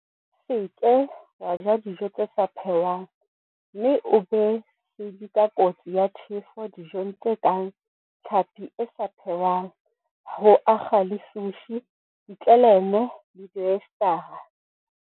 Se ke wa ja dijo tse sa phehwang mme o be sedi ka kotsi ya tjhefo dijong tse kang tlhapi e sa phehwang ho akga le sushi, ditleleme le dioyesetara.